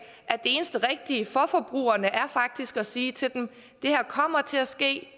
det eneste rigtige for forbrugerne faktisk er at sige til dem det her kommer til at ske